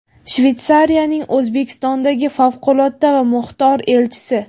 Shvetsariyaning O‘zbekistondagi favqulodda va muxtor elchisi:.